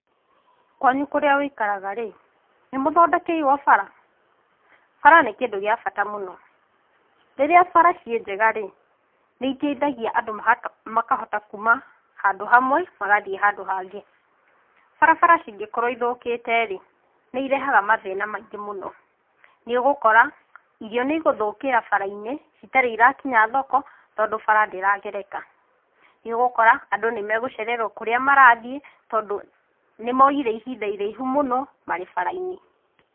Kwanyu kũrĩa ũikaraga-rĩ, nĩmũthondekeirwo bara? Bara nĩ kĩndũ gĩa bata mũno, rĩrĩa bara ciĩ njega-rĩ, nĩiteithagia andũ makahota kuma handũ hamwe, magathiĩ handũ hangĩ. Barabara cingĩkorwo ithũkĩte-rĩ, nĩirehaga mathĩna maingĩ mũno. Nĩũgũkora irio nĩ igũthũkĩra bara-inĩ citarĩ irakinya thoko, tondũ bara ndĩragereka. Nĩũgũkora andũ nĩ magũcererwo kũrĩa marathiĩ, tondũ nĩ moyire ihinda iraihu mũno marĩ bara-inĩ.